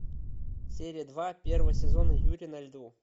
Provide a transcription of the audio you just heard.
серия два первого сезона юри на льду